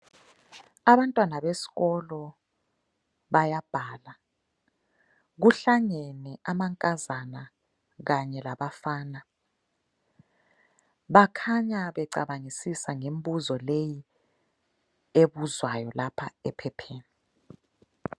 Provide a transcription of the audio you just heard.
Abantwana besikolo bayabhala. Kuhlangene amankazana kanye labafana. Bakhanya becabangisisa ngembuzo leyi ebuzwayo lapha ephepheni.